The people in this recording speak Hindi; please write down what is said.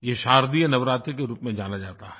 ये शारदीयनवरात्रि के रूप में जाना जाता है